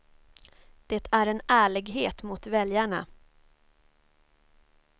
Det är en ärlighet mot väljarna.